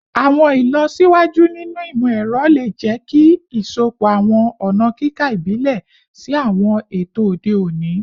Awọn ilọsiwaju ninu imọ-ẹrọ le jẹ ki isọpọ awọn ọna kika ibile si awọn eto ode oni